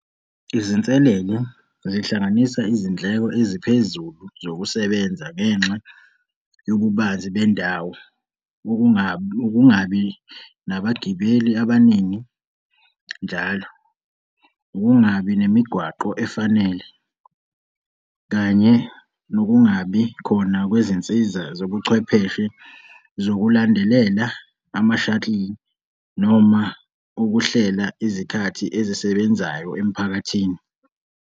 Izinselelo zihlanganisa izindleko eziphezulu zokusebenza ngenxa yobubanzi bendawo, ukungabi nabagibeli abaningi njalo, ukungabi nemigwaqo efanele kanye nokungabikhona kwezinsiza zobuchwepheshe zokulandelela ama-shuttle noma ukuhlela izikhathi ezisebenzayo emphakathini.